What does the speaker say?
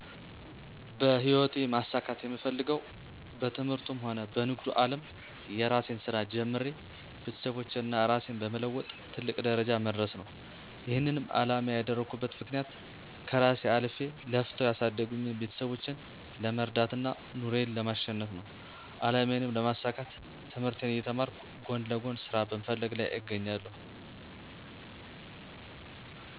በህይወቴ ማሳካት የምፈልገዉ በትምህርቱም ሆነ በንግዱ አለም የእራሴን ስራ ጀምሬ ቤተሰቦቼን እና እራሴን በመለወጥ ትልቅ ደረጃ መድረስ ነው። ይሄንንም አላማዬ ያደረኩበት ምክንያት ከእራሴ አልፌ ለፍተው ያሳደጉኝን ቤተሰቦቼን ለመርዳት እና ኑሮን ለማቸነፍ ነው። አላማዬንም ለማሳካት ትምህርቴን እየተማርኩ ጎን ለጎን ስራ በመፈለግ ላይ እገኛለሁ።